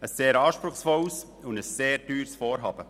Es handelt sich um ein sehr anspruchsvolles und teures Vorhaben.